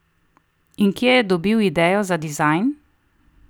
In kje je dobil idejo za dizajn?